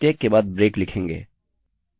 और फिर प्रत्येक के बाद ब्रेक लिखेंगे